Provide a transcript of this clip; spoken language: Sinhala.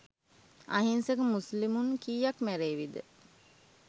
අහිංසක මුස්ලිමුන් කීයක් මැරේවිද?